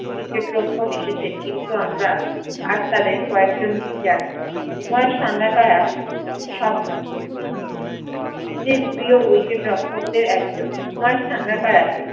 cricket রক্ষক এসেছেন কিন্তু আমরা আর তাদের কয়েকজন কেই জানি কুমার সাঙ্গাকারা সব চে প্রিয় cricket রক্ষকদের একজন কুমার সাঙ্গাকারা